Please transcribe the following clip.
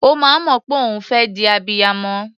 Ó máa ń mọ̀ pé òun fẹ́ di abiyamọ.